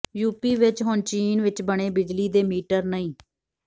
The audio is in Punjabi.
ਯੂ ਪੀ ਵਿੱਚ ਹੁਣ ਚੀਨ ਵਿੱਚ ਬਣੇ ਬਿਜਲੀ ਦੇ ਮੀਟਰ ਨਹੀਂ